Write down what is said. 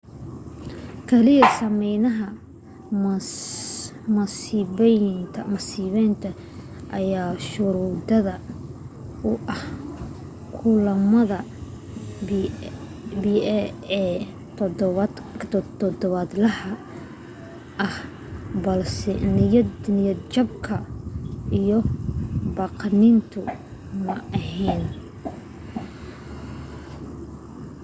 keliya saameynaha masibaynta ayaa shuruud u ahaa kulamada pa ee todobaadlaha ah balse niyadjabka iyo baqdintu ma ahayn